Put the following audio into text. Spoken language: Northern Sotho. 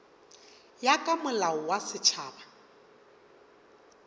ya ka molao wa setšhaba